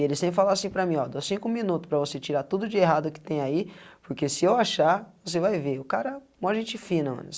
E ele sempre falava assim para mim, ó, dou cinco minutos para você tirar tudo de errado que tem aí, porque se eu achar, você vai ver, o cara, mó gente fina, mano.